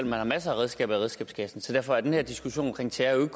man har masser af redskaber i redskabskassen så derfor er den her diskussion om terror jo